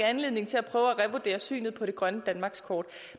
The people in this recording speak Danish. anledning til at prøve at revurdere synet på grønt danmarkskort